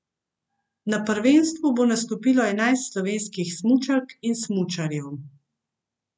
Na prvenstvu bo nastopilo enajst slovenskih smučark in smučarjev.